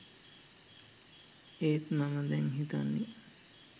ඒත් මම දැන් හිතන්නේ